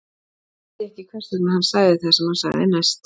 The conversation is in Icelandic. Hann vissi ekki hvers vegna hann sagði það sem hann sagði næst.